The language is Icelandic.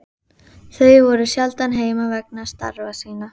Þau voru sjaldan heima vegna starfa sinna.